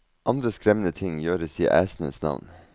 Andre skremmende ting gjøres i æsenes navn.